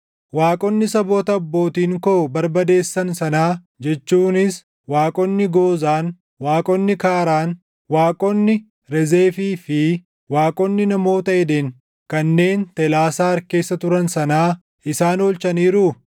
Waaqonni saboota abbootiin koo barbadeessan sanaa jechuunis waaqonni Goozaan, waaqonni Kaaraan, waaqonni Rezefii fi waaqonni namoota Eden kanneen Telaasaar keessa turan sanaa isaan oolchaniiruu?